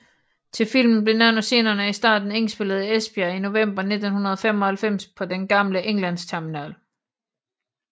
Til filmen blev nogle af scenerne i starten indspillet i Esbjerg i november 1995 på den gamle Englandsterminal